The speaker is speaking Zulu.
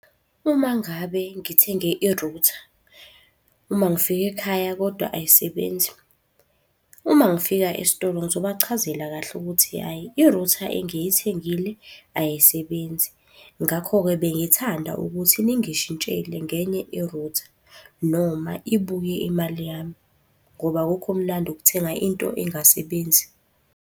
Uma ngabe ngithenge irutha, uma ngifika ekhaya kodwa ayisebenzi. Uma ngifika esitolo ngizobachazela kahle ukuthi hhayi irutha engiyithengile ayisebenzi. Ngakho-ke bengithanda ukuthi ningishintshele ngenye irutha noma ibuye imali yami. Ngoba akukho mnandi ukuthenga into engasebenzi.